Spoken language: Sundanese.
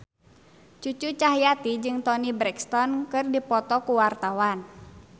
Cucu Cahyati jeung Toni Brexton keur dipoto ku wartawan